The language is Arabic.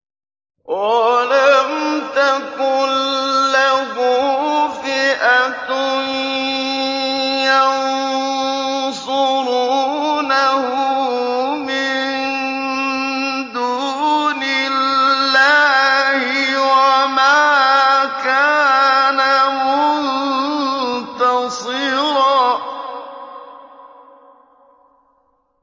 وَلَمْ تَكُن لَّهُ فِئَةٌ يَنصُرُونَهُ مِن دُونِ اللَّهِ وَمَا كَانَ مُنتَصِرًا